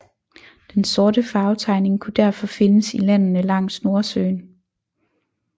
Den sorte farvetegning kunne derfor findes i landene langs Nordsøen